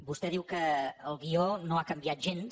vostè diu que el guió no ha canviat gens